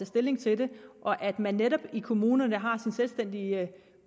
stilling til det og at man netop i kommunerne har sin selvstændige